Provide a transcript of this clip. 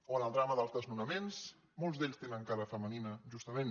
o en el drama dels desnonaments molts d’ells tenen cara femenina justament